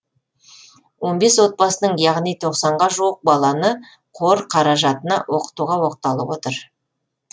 он отбасының яғни тоқсанға жуық баланы қор қаражатына оқытуға оқталып отыр